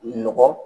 Nɔgɔ